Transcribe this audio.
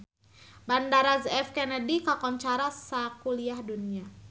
Bandara J F Kennedy kakoncara sakuliah dunya